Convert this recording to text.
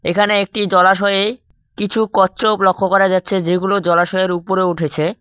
এখানে একটি জলাশয়ে কিছু কচ্ছপ লক্ষ্য করা যাচ্ছে যেগুলো জলাশয়ের উপরে উঠেছে।